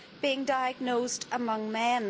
being diagnosed among men.